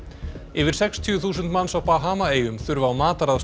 yfir sextíu þúsund manns á Bahamaeyjum þurfa á mataraðstoð